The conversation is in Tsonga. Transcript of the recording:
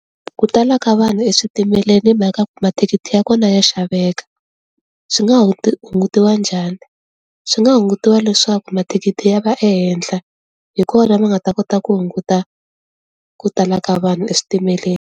Ku tala ka vanhu eswitimeleni hi mhaka ku mathikithi ya kona ya xaveka. Swi nga hungutiwa njhani? Swi nga hungutiwa leswaku mathikithi ya va ehenhla, hikona va nga ta kota ku hunguta ku tala ka vanhu eswitimeleni.